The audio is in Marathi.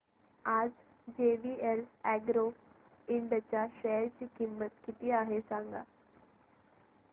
आज जेवीएल अॅग्रो इंड च्या शेअर ची किंमत किती आहे सांगा